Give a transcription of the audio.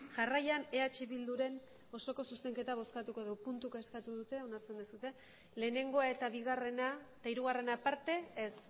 jarraian eh bildurren osoko zuzenketa bozkatuko dugu puntuka eskatu dute ulertzen duzue lehenengoa eta bigarrena eta hirugarrena aparte ez